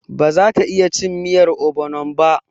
Ba za ta iya cin miyar ogbonon ba.